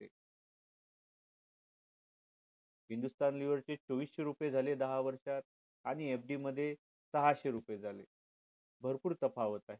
Hindustan unilever चे चोविशे रुपये झाले दहा वर्षात आणि FD मध्ये सहाशे रुपये झाले भरपूर नफा होत आहे